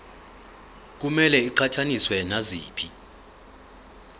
kumele iqhathaniswe naziphi